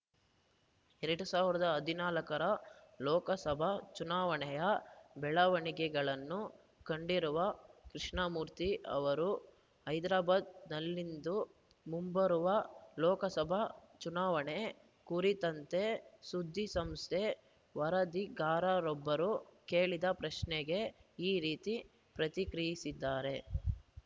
ಎರಡ್ ಸಾವಿರದ ಹದಿನಾಲ್ಕರ ಲೋಕಸಭಾ ಚುನಾವಣೆಯ ಬೆಳವಣಿಗೆಗಳನ್ನು ಕಂಡಿರುವ ಕೃಷ್ಣಮೂರ್ತಿ ಅವರು ಹೈದ್ರಾಬಾದ್‌ನಲ್ಲಿಂದು ಮುಂಬರುವ ಲೋಕಸಭಾ ಚುನಾವಣೆ ಕುರಿತಂತೆ ಸುದ್ದಿಸಂಸ್ಥೆ ವರದಿಗಾರರೊಬ್ಬರು ಕೇಳಿದ ಪ್ರಶ್ನೆಗೆ ಈ ರೀತಿ ಪ್ರತಿಕ್ರಿಯಿಸಿದ್ದಾರೆ